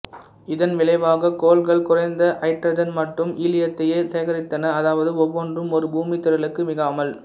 இதன் விளைவாக கோள்கள் குறைந்த ஹைட்ரஜன் மற்றும் ஹீலியத்தையே சேகரித்தன அதாவது ஒவ்வொன்றும் ஒரு பூமி திரளுக்கு மிகாமல்